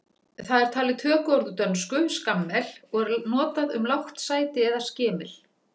Það er talið tökuorð úr dönsku skammel og er notað um lágt sæti eða skemil.